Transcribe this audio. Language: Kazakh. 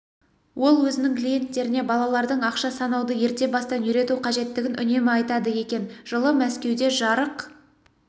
ол өзінің клиенттеріне балалардың ақша санауды ерте бастан үйрену қажеттігін үнемі айтады екен жылы мәскеуде жарық